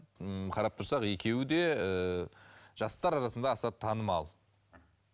ммм қарап тұрсақ екеуі де ііі жастар арасында аса танымал